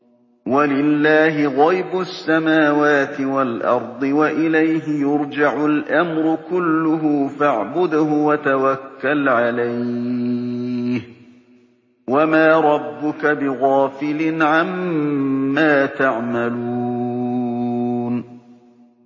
وَلِلَّهِ غَيْبُ السَّمَاوَاتِ وَالْأَرْضِ وَإِلَيْهِ يُرْجَعُ الْأَمْرُ كُلُّهُ فَاعْبُدْهُ وَتَوَكَّلْ عَلَيْهِ ۚ وَمَا رَبُّكَ بِغَافِلٍ عَمَّا تَعْمَلُونَ